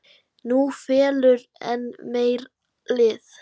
Nú fellur enn meira lið.